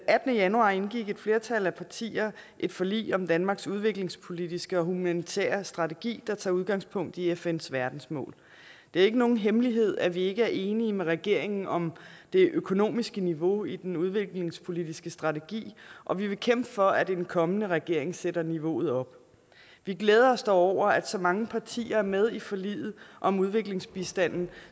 attende januar indgik et flertal af partierne et forlig om danmarks udviklingspolitiske og humanitære strategi der tager udgangspunkt i fns verdensmål det er ikke nogen hemmelighed at vi ikke er enige med regeringen om det økonomiske niveau i den udviklingspolitiske strategi og vi vil kæmpe for at en kommende regering sætter niveauet op vi glæder os dog over at så mange partier er med i forliget om udviklingsbistanden